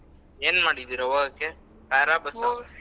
ಏನ್ ಮಾಡಿದ್ದೀರಾ ಹೋಗೊಕ್ಕೆ car ಆ .